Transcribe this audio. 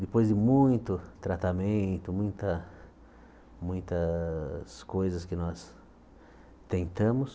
Depois de muito tratamento, muita muitas coisas que nós tentamos,